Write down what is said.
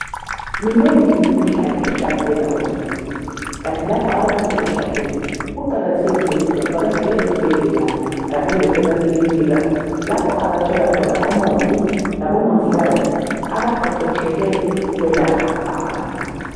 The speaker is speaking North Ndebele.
Minengi imikhuhlane ehlasela uzulu kanti lapha abantu sebehlaselwe kuqakathekile ukuthi bavatshele ezibhendlela kanye lasemakilinika lapho abathola khona omongi labomongikazi abaqheqhetshele ukwelapha abantu.